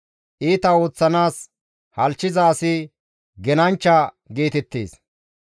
Iita ooththanaas halchchiza asi «Genanchcha» geetettees.